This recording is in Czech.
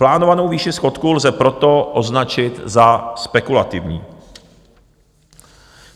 Plánovanou výši schodku lze proto označit za spekulativní.